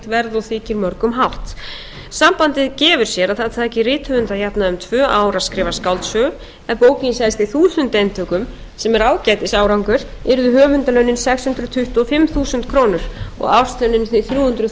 og þykir mörgum hátt sambandið gefur sér að það taki rithöfund að jafnaði um tvö ár að skrifa skáldsögu ef bókin selst í þúsund eintökum sem er ágætis árangur yrðu höfundarlaunin sex hundruð tuttugu og fimm þúsund krónur og árslaunin því þrjú hundruð